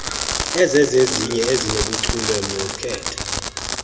ezizezinye ezinobuchule nokhetho